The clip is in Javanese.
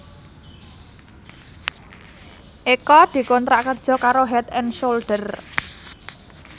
Eko dikontrak kerja karo Head and Shoulder